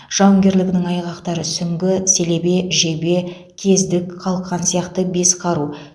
жауынгерлігінің айғақтары сүңгі селебе жебе кездік қалқан сияқты бес қару